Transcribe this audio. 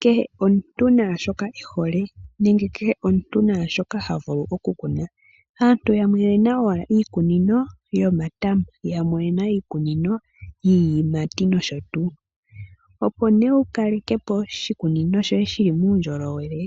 Kehe omuntu naashoka ehole. Nenge kehe omuntu naashoka tavulu okukuna . Aantu yamwe oyena owala iikunino yomatama, yamwe oyena iikunino yiiyimati noshotuu. Opo wukalekepo oshikunino shoye shili muundjowele